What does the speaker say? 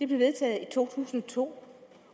blev vedtaget i to tusind og to